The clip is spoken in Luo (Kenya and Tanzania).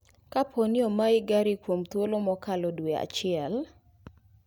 Kapooni omayi gari kuom thuolo makalo dwee achiel